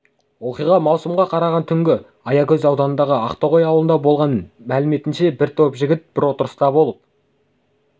оқиға маусымға қараған түні аягөз ауданындағы ақтоғай ауылында болған мәліметінше бір топ жігіт бір отырыста болып